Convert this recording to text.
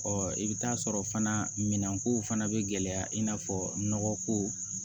i bɛ taa sɔrɔ fana minɛnkow fana bɛ gɛlɛya i n'a fɔ nɔgɔ ko